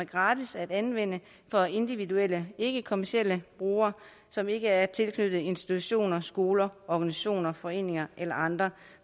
gratis at anvende for individuelle ikkekommercielle brugere som ikke er tilknyttet institutioner skoler organisationer foreninger eller andre